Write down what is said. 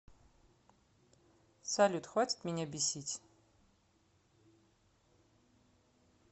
салют хватит меня бесить